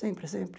Sempre, sempre.